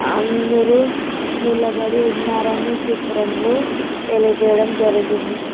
అందరూ నిలబడి ఉన్నారని చిత్రంలో తెలియజేయడం జరిగింది.